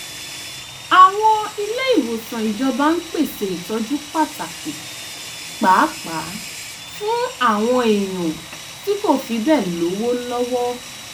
àwọn ilé-ìwòsàn ìjọba ń pèsè ìtọ́jú pàtàkì pàápàá fún àwọn èèyàn tí kò fi bẹ́ẹ̀ lówó lọ́wọ́